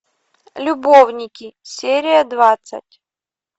любовники серия двадцать